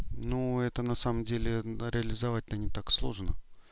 ну это на самом деле реализовать не так сложно